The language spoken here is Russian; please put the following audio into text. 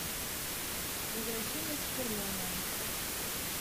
возвращение супермена